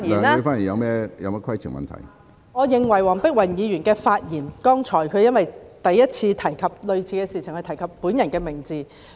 主席，我認為黃碧雲議員剛才在發言時，當她第一次提及類似的事情時，提及我的名字。